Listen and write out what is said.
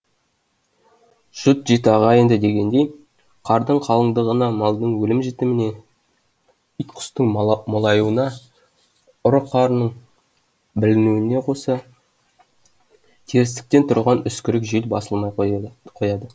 жұт жеті ағайынды дегендей қардың қалыңдығына малдың өлім жітіміне ит құстың молаюына ұры қарының білінуіне қоса терістіктен тұрған үскірік жел басылмай қояды қояды